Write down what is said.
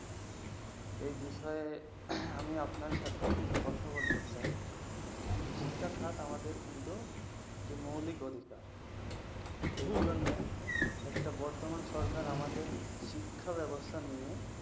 এই বিষয়ে আমিও আপনার সাথে কিছু কথা বলতে চাই। শিক্ষা কিন্তু আমাদের একটি মৌলিক অধিকার। এগুলোর মধ্যে বর্তমান সরকার আমাদের শিক্ষাব্যবস্থা নিয়ে